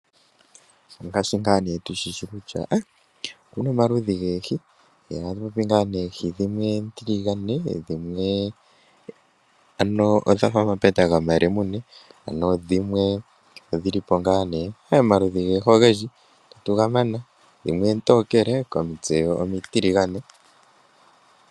Ongashi nga tushishi kutya okuna omaludhi goohi. Omaludhi nga dhimwe oontiligano dhimwe odhafa omapeta goma lemune dho dhimwe odhilipo ngaa omaludhi goohi ogendji itatu ga mana dhimwe oontokele komitse oontiligane.